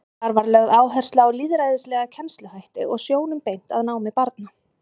Þar var lögð áhersla á lýðræðislega kennsluhætti og sjónum beint að námi barna.